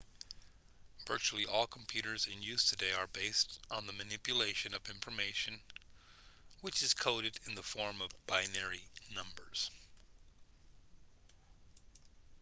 virtually all computers in use today are based on the manipulation of information which is coded in the form of binary numbers